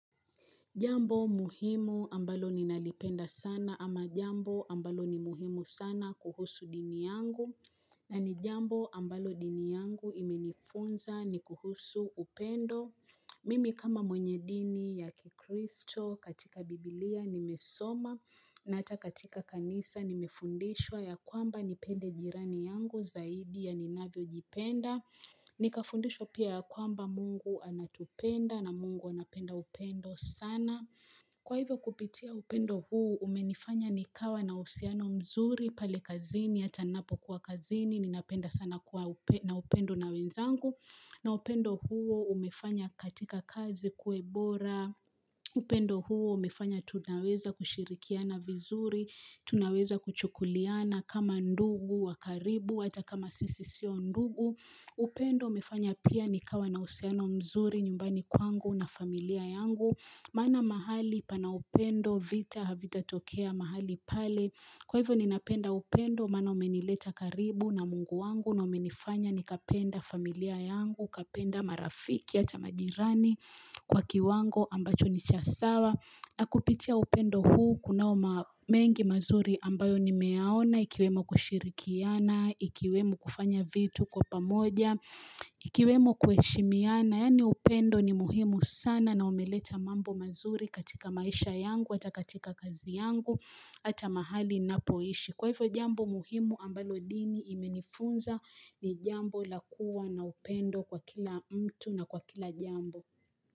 Jambo muhimu ambalo ninalipenda sana ama jambo ambalo ni muhimu sana kuhusu dini yangu na ni jambo ambalo dini yangu imenifunza ni kuhusu upendo. Mimi kama mwenye dini ya kikristo katika biblia nimesoma na atakatika kanisa nimefundishwa ya kwamba nipende jirani yangu zaidi ya ninavyo jipenda. Ni kafundishwa pia kwamba Mungu anatupenda na Mungu anapenda upendo sana Kwa hivyo kupitia upendo huu umenifanya nikawa na usiano mzuri pale kazini Hata napo kua kazini ninapenda sana kua na upendo na wenzangu na upendo huo umefanya katika kazi kuwebora upendo huo umefanya tunaweza kushirikiana vizuri Tunaweza kuchukuliana kama ndugu wakaribu hata kama sisisio ndugu upendo mefanya pia nikawa na usiano mzuri nyumbani kwangu na familia yangu Maana mahali pana upendo vita havita tokea mahali pale Kwa hivo ninapenda upendo mana umenileta karibu na Mungu wangu na umenifanya nikapenda familia yangu, kapenda marafiki hata majirani kwa kiwango ambacho nichasawa na kupitia upendo huu kunaoma mengi mazuri ambayo ni meyaona ikiwemo kushirikiana, ikiwemo kufanya vitu kwa pamoja, ikiwemo kueshimiana. Yani upendo ni muhimu sana na umeleta mambo mazuri katika maisha yangu ata katika kazi yangu ata mahali na poishi. Kwa hivyo jambo muhimu ambalo dini imenifunza ni jambo lakua na upendo kwa kila mtu na kwa kila jambo.